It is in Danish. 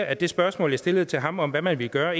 at det spørgsmål jeg stillede til ham om hvad man ville gøre